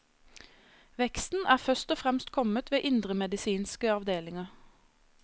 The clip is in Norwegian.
Veksten er først og fremst kommet ved indremedisinske avdelinger.